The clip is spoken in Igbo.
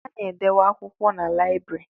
A na-edebe akwụkwọ na lịabiri